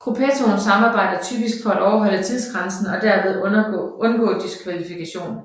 Gruppettoen samarbejder typisk for at overholde tidsgrænsen og dermed undgå diskvalifikation